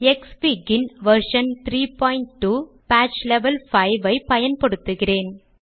க்ஸ்ஃபிக் ன் version 32 patch level 5 ஐப் பயன்படுத்துகிறேன்